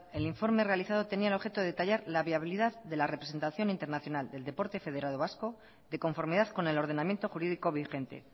el informe realizado tenía el objeto de detallar la viabilidad de la representación internacional del deporte federado vasco de conformidad con el ordenamiento jurídico vigente